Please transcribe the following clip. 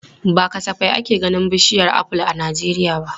Ba kasafai ake ganin bishiyar aful a Najeriya ba.